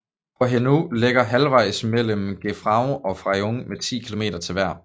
Hohenau ligger halvejs mellem Grafenau og Freyung med ti km til hver